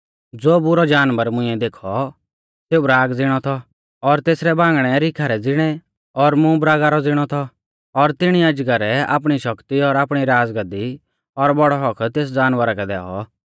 ज़ो बुरौ जानवर मुंइऐ देखौ सेऊ बराग ज़िणौ थौ और तेसरै बांगणै रीखा रै ज़िणै और मूंह बरागा रौ ज़िणौ थौ और तिणी अजगरै आपणी शक्ति और आपणी राज़गाद्दी और बौड़ौ हक्क तेस जानवरा कै दैऔ